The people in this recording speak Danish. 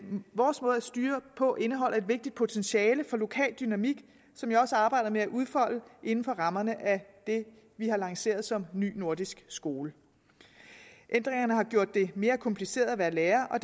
styre på indeholder et vigtigt potentiale for lokal dynamik som jeg også arbejder med at udfolde inden for rammerne af det vi har lanceret som ny nordisk skole ændringerne har gjort det mere kompliceret at være lærer og